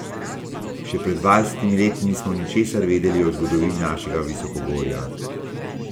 Še pred dvajsetimi leti nismo ničesar vedeli o zgodovini našega visokogorja.